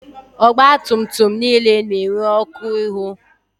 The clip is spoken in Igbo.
Ọgba tum tum niile na-enwe ọkụ ihu.